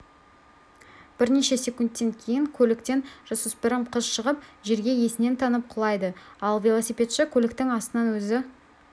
бірнеше секундтен кейін көліктен жасөспірім қыз шығып жерге есінен танып құлайды ал велосипедші көліктің астынан өзі